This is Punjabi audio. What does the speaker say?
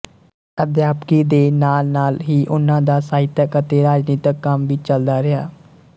ਅਧਿਆਪਕੀ ਦੇ ਨਾਲ ਨਾਲ ਹੀ ਉਨ੍ਹਾਂ ਦਾ ਸਾਹਿਤਕ ਅਤੇ ਰਾਜਨੀਤਕ ਕੰਮ ਵੀ ਚੱਲਦਾ ਰਿਹਾ